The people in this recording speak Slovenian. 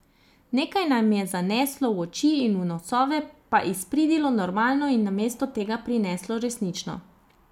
Nekaj nam je zaneslo v oči in v nosove pa izpridilo normalno in namesto tega prineslo resnično.